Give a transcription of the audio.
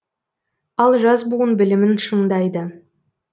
ал жас буын білімін шыңдайды